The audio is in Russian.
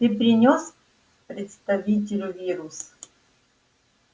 ты принёс представителю вирус